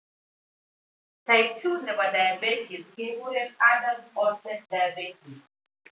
Type 2 nebo diaetes kekuren adult onset diabetes